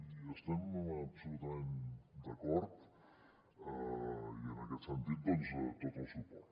i hi estem absolutament d’acord i en aquest sentit doncs tot el suport